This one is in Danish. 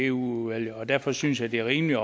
udvalget derfor synes jeg det er rimeligt